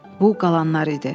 Bu qalanlar idi.